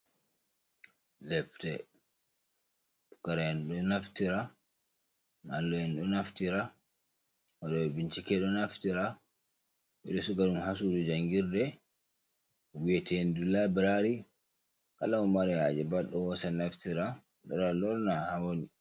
Depte pukara'en ɗo naftira mallum en ɗo naftira waɗo ɓe bincike ɗo naftira ɓeɗo siga ɗum ha sudu jangirde wi'ete ndu labrari kala momari haje pat ɗo hosa naftira lora lorna ha woni.